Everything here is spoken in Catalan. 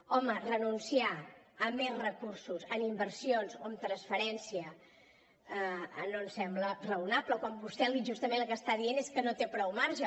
home renunciar a més recursos en inversions o en transferència no em sembla raonable quan vostè justament el que està dient és que no té prou marge